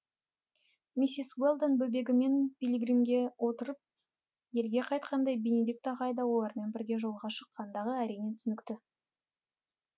миссис уэлдон бөбегімен пилигримге отырып елге қайтқанда бенедикт ағай да олармен бірге жолға шыққандығы әрине түсінікті